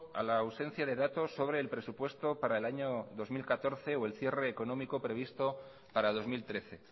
a la ausencia de datos sobre el presupuesto para el año dos mil catorce o el cierre económico previsto para dos mil trece